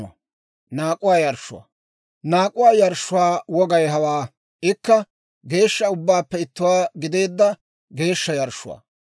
« ‹Naak'uwaa yarshshuwaa wogay hawaa: ikka geeshsha ubbaappe ittuwaa gideedda geeshsha yarshshuwaa.